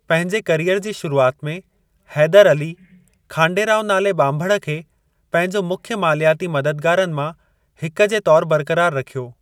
पंहिंजे करियर जी शुरुआति में, हैदर अली खांडे राव नाले ॿांभण खे पंहिंजो मुख्य मालियाती मददगारनि मां हिकु जे तौरु बरकरार रखियो।